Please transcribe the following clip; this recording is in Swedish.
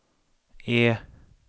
E